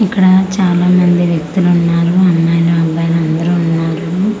ఇక్కడ చాలా మంది వ్యక్తులున్నారు అమ్మాయిలు అబ్బాయిలు అందరూ ఉన్నారు.